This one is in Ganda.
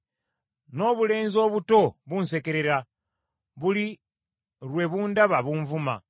N’obulenzi obuto bunsekerera; buli lwe bundaba bunvuma.